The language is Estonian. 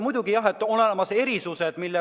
Muidugi, jah, on olemas erisused.